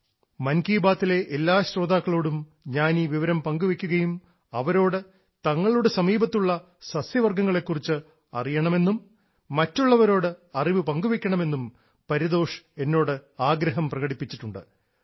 മൻ കി ബാത്തിലെ എല്ലാ ശ്രോതാക്കളോടും ഞാൻ ഈ വിവരം പങ്കുവെയ്ക്കുകയും അവരോട് തങ്ങളുടെ സമീപത്തുള്ള സസ്യവർഗ്ഗങ്ങളെ കുറിച്ച് അറിയണമെന്നും മറ്റുള്ളവരോട് അറിവ് പങ്കുവെയ്ക്കണമെന്നും പരിതോഷ് എന്നോട് ആഗ്രഹം പ്രകടിപ്പിച്ചിട്ടുണ്ട്